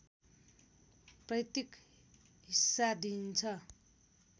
पैतृक हिस्सा दिन्छ